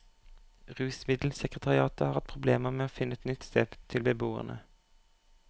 Rusmiddelsekretariatet har hatt problemer med å finne et nytt sted til beboerne.